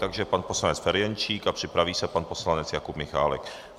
Takže pan poslanec Ferjenčík a připraví se pan poslanec Jakub Michálek.